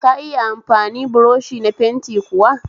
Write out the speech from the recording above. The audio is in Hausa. Ka iya amfani buroshi na fenti kuwa?